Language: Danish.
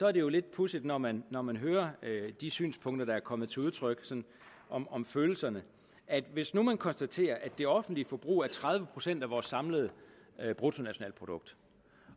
er det jo lidt pudsigt når man når man hører de synspunkter der er kommet til udtryk om om følelserne hvis nu man konstaterer at det offentlige forbrug er tredive procent af vores samlede bruttonationalprodukt